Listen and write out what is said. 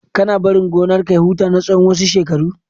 Kana barin gonar ka ya huta na tsawan wasu shekaru?